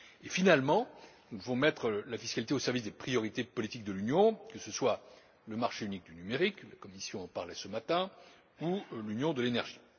Et, finalement, nous devons mettre la fiscalité au service des priorités politiques de l'Union, que ce soit le marché unique du numérique la Commission en parlait ce matin ou l'Union de l'énergie.